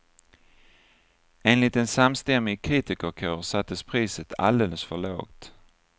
Enligt en samstämmig kritikerkår sattes priset alldeles för lågt.